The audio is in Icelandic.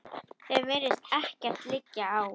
Þeim virðist ekkert liggja á.